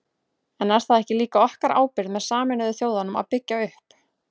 En er það ekki líka okkar ábyrgð með Sameinuðu þjóðunum að byggja upp?